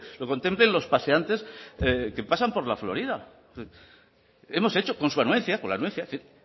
lo contemplen los paseantes que pasan por la florida hemos hecho con su anuencia con la anuencia